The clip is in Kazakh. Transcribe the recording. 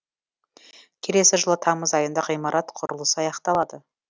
келесі жылы тамыз айында ғимарат құрылысы аяқталады